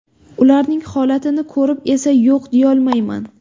Ularning holatini ko‘rib esa yo‘q deyolmayman.